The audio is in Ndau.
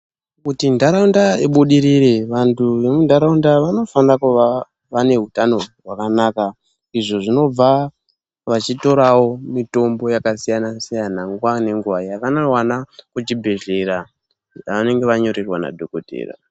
Kuti ntaraunda ibudirire vantu vemuntaraunda vanofana kuva vane utano hwakanaka izvo zvinobva vachitorawo mitombo yakasiyana siyana nguva nenguva yavanowana kuchibhedhleya yavanenge vanyorerwa nadhokodheya.